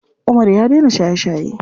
Umar ya daina shaye shaye.